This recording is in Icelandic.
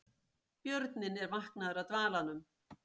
Björninn er vaknaður af dvalanum